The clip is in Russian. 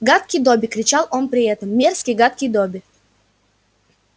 гадкий добби кричал он при этом мерзкий гадкий добби